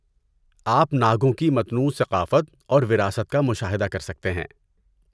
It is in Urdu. آپ ناگوں کی متنوع ثقافت اور وراثت کا مشاہدہ کر سکتے ہیں۔